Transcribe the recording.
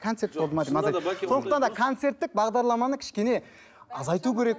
концерт болды ма сондықтан да концерттік бағдарламаны кішкене азайту керек